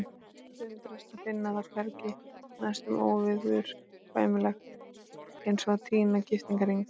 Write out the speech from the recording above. Undrast að finna það hvergi, næstum óviðurkvæmilegt eins og að týna giftingarhring.